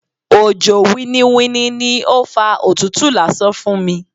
Òjò winniwinni ni ó fa òtútù lásán fún mi.